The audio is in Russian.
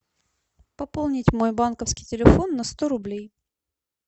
пополнить мой банковский телефон на сто рублей